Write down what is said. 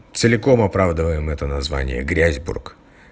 целиком оправдываем это название грязьбург